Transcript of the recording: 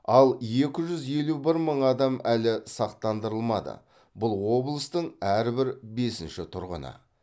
ал екі жүз елу бір мың адам әлі сақтандырылмады бұл облыстың әрбір бесінші тұрғыны